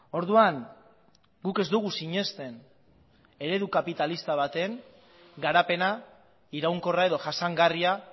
orduan guk ez dugu sinesten eredu kapitalista baten garapena iraunkorra edo jasangarria